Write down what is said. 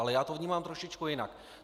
Ale já to vnímám trošičku jinak.